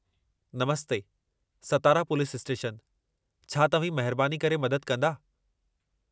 नमस्ते, Satara police station, छा तव्हीं महिरबानी करे मदद कंदा?